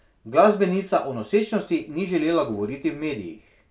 Glasbenica o nosečnosti ni želela govoriti v medijih.